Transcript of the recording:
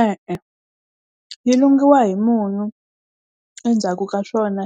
E-e yi lungiwa hi munyu, endzhaku ka swona